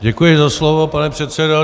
Děkuji za slovo, pane předsedo.